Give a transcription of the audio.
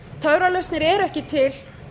töfralausnir eru ekki til